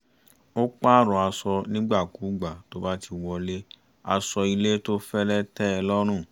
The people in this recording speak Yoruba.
ó pààrọ̀ aṣọ nígbàkúùgbà tó bá ti wọlé aṣọ ilé tó fẹ́lẹ́ tẹ́ ẹ lọ́rùn